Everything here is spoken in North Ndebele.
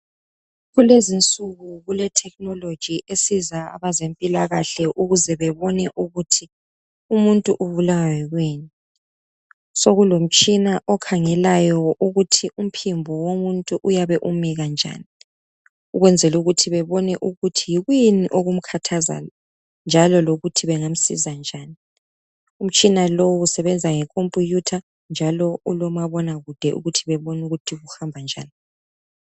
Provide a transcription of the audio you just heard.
Kulezinsuku kulethekhinoloji esiza abezempilakahle ukuze bebone ukuthi umuntu ubulawa yikuyini. Sokulomtshina okhangelayo ukuthi umphimbo womuntu uyabe umikanjani ukwenzela ukuthi bebone ukuthi yikuyini okumkhathazayo njalo lokuthi bengamsiza njani. Umtshina lowu usebenza ngekhompiyutha njalo ulomabona kude ukuthi bebone ukuthi kuhamba njani.